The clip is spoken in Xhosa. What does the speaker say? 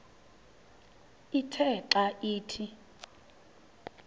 ithe xa ithi